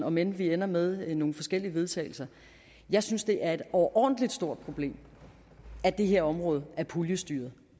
om end vi ender med nogle forskellige vedtagelser jeg synes det er et overordentlig stort problem at det her område er puljestyret